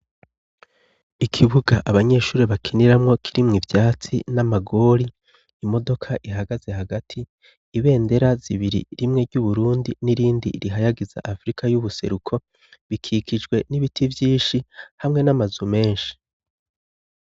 Ikibuga abanyeshure bakiniramwo kirimwo ivyatsi n'amagori, imodoka ihagaze hagati, ibendera zibiri, rimwe ry'Uburundi n'irindi rihayagiza Afurika y'ubuseruko, bikikijwe n'ibiti vyinshi hamwe n'amazu menshi.